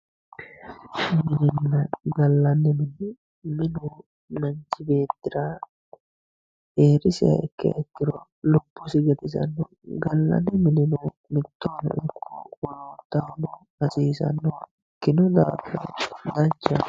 minenna gallanni mine minu manchi beettira heerisiha ikkiha ikkiro lubbosi gatisanno gallanni minino mittohono wolootahono hasiisannoha ikkino daafira danchaho.